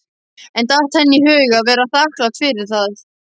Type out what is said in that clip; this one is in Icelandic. En datt henni í hug að vera þakklát fyrir það?